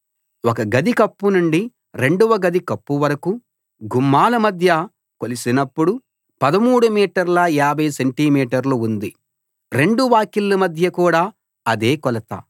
ఒక గది కప్పు నుండి రెండవ గది కప్పువరకూ గుమ్మాల మధ్య కొలిసినప్పుడు 13 మీటర్ల 50 సెంటి మీటర్లు ఉంది రెండు వాకిళ్ళ మధ్య కూడా అదే కొలత